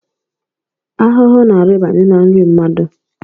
Ahụhụ na-arịbanye n’nri mmadụ